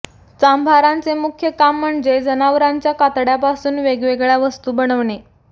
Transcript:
चांभारांचे मुख्य काम म्हणजे जनावरांच्या कातड्यापासून वेगवेगळ्या वस्तू बनवणे